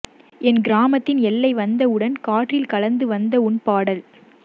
என் கிராமத்தின் எல்லை வந்தவுடன் காற்றில் கலந்து வந்த உன் பாடல்